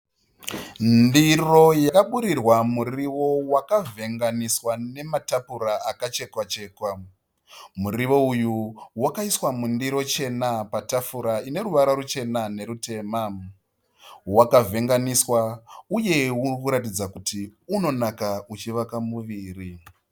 Ndiro yakaburirwa muriwo wakavhenganiswa nepapura akachekwachekwa. Muriwo uyu wakaiswa mundiro chena patafura ine ruvara ruchena nerutema. Wakavhenganiswa uye urikuratidza kuti inonaka unovaka muviri.